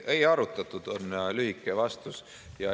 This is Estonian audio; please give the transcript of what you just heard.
Ei arutatud, on lühike vastus.